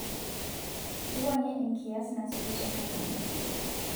wuangie enkias nasuju te kalenda